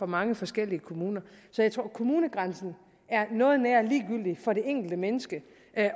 mange forskellige kommuner så jeg tror at kommunegrænsen er noget nær ligegyldig for det enkelte menneske